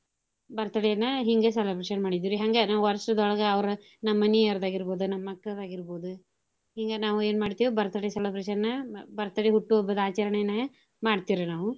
birthday ನ ಹಿಂಗ celebration ಮಾಡಿದ್ವಿರಿ ಹಂಗ ನಾವ್ ವರ್ಷದೋಳ್ಗ ಅವ್ರ ನಮ್ ಮನೀಯರ್ದಾಗಿರ್ಬೋದು ನಮ್ ಮಕ್ಕಳ್ದ ಆಗಿರ್ಬೋದು ಹಿಂಗ ನಾವು ಎನ್ ಮಾಡ್ತಿವ್ birthday celebration ನ birthday ಹುಟ್ಟು ಹಬ್ಬದ ಆಚರ್ಣೆನ ಮಾಡ್ತೇವ್ ರಿ ನಾವು.